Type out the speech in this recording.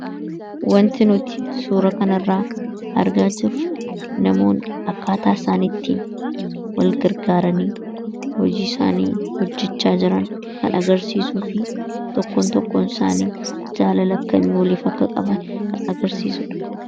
Wanti nuti suuraa kana irraa argaa jirru namoonni akkaataa isaan itti wal gargaaranii hojii isaanii hojjechaa jiran kan agarsiisuu fi tokkoon tokkoon isaanii jaalala akkamii waliif akka qaban kan agarsiisuudha.